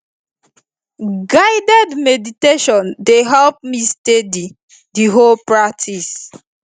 guided meditation dey help me steady the whole practice